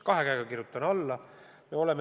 Kahe käega kirjutan alla!